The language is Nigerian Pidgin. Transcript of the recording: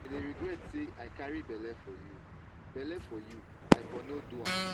i dey regret say i carry bele for you bele for you i for no do am.